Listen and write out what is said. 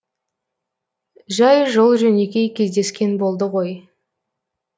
жай жол жөнекей кездескен болды ғой